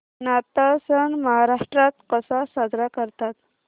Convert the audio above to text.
नाताळ सण महाराष्ट्रात कसा साजरा करतात